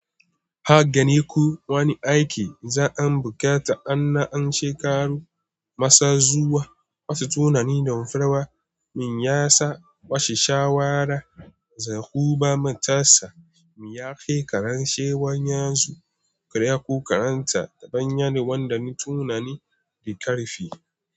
Hagani ku wani aiki za'an bukata an na an she karu masa zuwa wasu tunani damfarawa min yasa washe shawara zahuba matasa mu yake karanshe wanyan su karya ko karanta dabban yanuwan da ni tunani rikarfi.